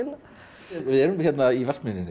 við erum hérna í Vatnsmýrinni